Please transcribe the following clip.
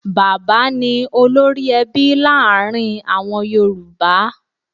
Bàbá ni olórí-ẹbí láàrin àwọn yorùbá.